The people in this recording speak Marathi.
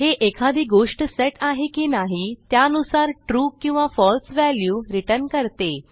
हे एखादी गोष्ट सेट आहे की नाही त्यानुसार ट्रू किंवा फळसे व्हॅल्यू रिटर्न करते